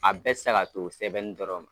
A bɛɛ tɛ se ka to sɛbɛnni dɔrɔn ma.